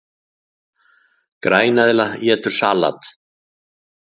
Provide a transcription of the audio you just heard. Græneðla étur salat!